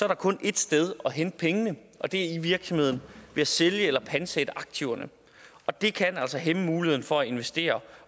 der kun ét sted at hente pengene og det er i virksomheden ved at sælge eller pantsætte aktiverne og det kan altså hæmme muligheden for at investere